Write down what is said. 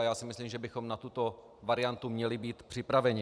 A já si myslím, že bychom na tuto variantu měli být připraveni.